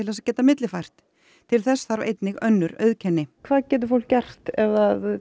þess að geta millifært í til þess þarf einnig önnur auðkenni hvað getur fólk gert ef